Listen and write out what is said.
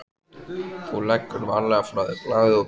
Þú leggur varlega frá þér blaðið og pennann.